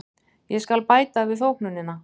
Ég skal bæta við þóknunina.